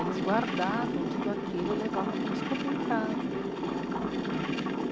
Eles guardavam tudo aquilo e levavam para eles comerem em casa.